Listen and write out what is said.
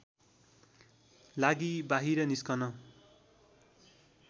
लागि बाहिर निस्कन